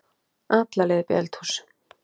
alla leið upp í eldhús.